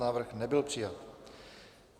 Návrh nebyl přijat.